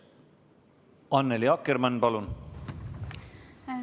Annely Akkermann, palun!